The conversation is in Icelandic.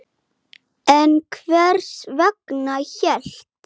En hvers vegna hélt